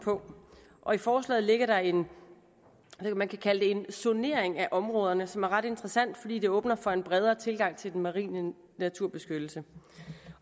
og i forslaget ligger der en man kan kalde det zonering af områderne som er ret interessant fordi det åbner for en bredere tilgang til den marine naturbeskyttelse